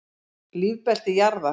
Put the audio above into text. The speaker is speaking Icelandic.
Lífbelti jarðar.